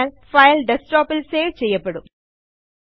അതിനാൽ ഫയൽ ഡെസ്ക്ടോപ്പിൽ സേവ് ചെയ്യപ്പെടും